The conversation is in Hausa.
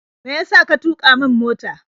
Me yasa ka tuƙa min mota?